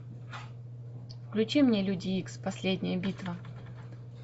включи мне люди икс последняя битва